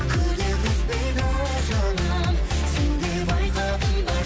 күдер үзбейді жаным сен де байқадың ба